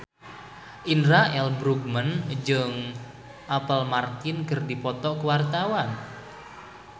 Indra L. Bruggman jeung Apple Martin keur dipoto ku wartawan